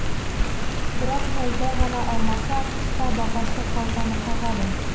бірақ жазда ғана алмаса қыста бағасы қалтаны қағады